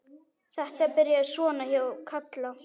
Þetta byrjaði svona hjá Kalla.